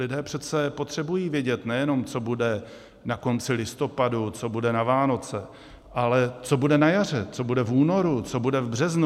Lidé přece potřebují vědět nejenom, co bude na konci listopadu, co bude na Vánoce, ale co bude na jaře, co bude v únoru, co bude v březnu.